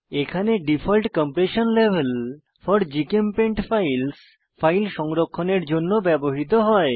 এখানে default compression level four GChemPaint files file সংরক্ষণের জন্য ব্যবহৃত হয়